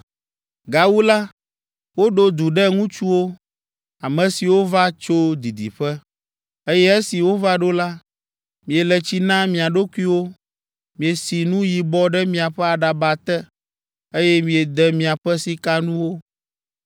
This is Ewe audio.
“Gawu la, woɖo du ɖe ŋutsuwo, ame siwo va tso didiƒe, eye esi wova ɖo la, miele tsi na mia ɖokuiwo, miesi nu yibɔ ɖe miaƒe aɖaba te, eye miede miaƒe sikanuwo.